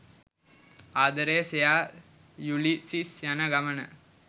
ආදරය සෙයා යුලිසිස් යන ගමන